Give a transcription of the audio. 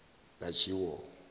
lajiwo